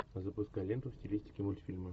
запускай ленту в стилистике мультфильмы